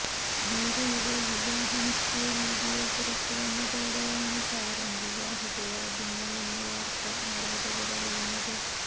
മീരയുടെ വിവാഹ നിശ്ചയ വീഡിയോ പുറത്തുവന്നതോടെയാണ് താരം വിവാഹിതയാകുന്നുവെന്ന വാർത്ത ആരാധകർ അറിയുന്നത്